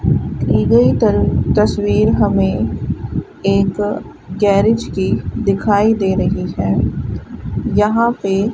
दी गई त तस्वीर हमें एक गैरेज की दिखाई दे रही है यहां पे --